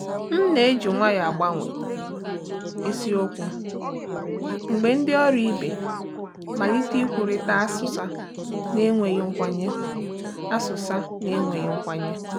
M na-eji nwayọọ agbanwe isiokwu mgbe ndị ọrụ ibe malite ikwurịta asụsa na-enweghị nkwenye. asụsa na-enweghị nkwenye.